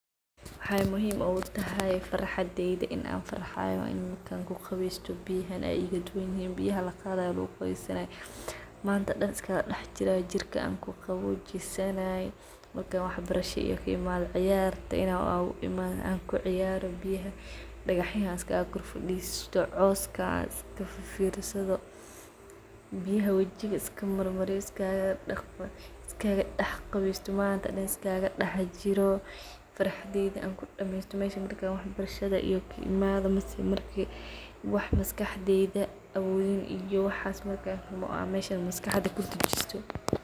Waxay muhim u tahay in farxadeyda in an farxayo an kuqubeysto biyahan ay igaduwanyihin biyaha laqaday oo laguqubesanay, manta dhan iskagadax jiray jirka kuqawojisanay manta dhan iskaga dax jiro manta dhan kudax bashalo dagaxyaha an iskaga kor fadisto biyha wajiga iskamarmariyo wax manta dan laheli karin waye mel san uqurxon wax maskaxdeydha awodin i yo waxs in meshan an maskaxda kudajisto.